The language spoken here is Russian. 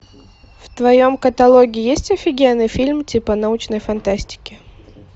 в твоем каталоге есть офигенный фильм типа научной фантастики